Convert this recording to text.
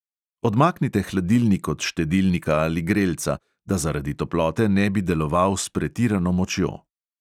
Odmaknite hladilnik od štedilnika ali grelca, da zaradi toplote ne bi deloval s pretirano močjo.